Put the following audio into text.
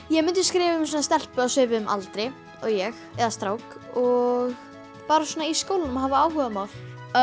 ég myndi skrifa um stelpu á svipuðum aldri og ég eða strák og bara svona í skólanum og hefur áhugamál